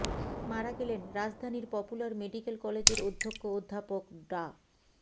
মারা গেলেন রাজধানীর পপুলার মেডিকেল কলেজের অধ্যক্ষ অধ্যাপক ডা